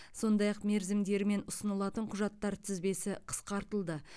сондай ақ мерзімдері мен ұсынылатын құжаттар тізбесі қысқартылды